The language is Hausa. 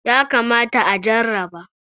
yakamata a jarraba